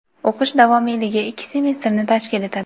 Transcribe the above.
o‘qish davomiyligi ikki semestrni tashkil etadi.